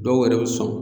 Dɔw yɛrɛ bɛ sɔn